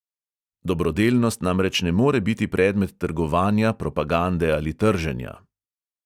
Dobrodelnost namreč ne more biti predmet trgovanja, propagande ali trženja.